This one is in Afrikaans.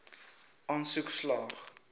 aansoek slaag